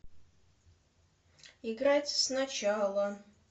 играть сначала